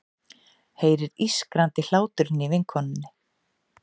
Heyrir ískrandi hláturinn í vinkonunni.